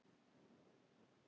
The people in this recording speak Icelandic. Hans verður ekki saknað.